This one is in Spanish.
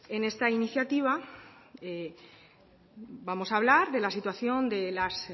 en esta iniciativa vamos hablar de la situación de las